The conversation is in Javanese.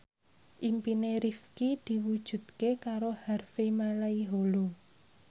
impine Rifqi diwujudke karo Harvey Malaiholo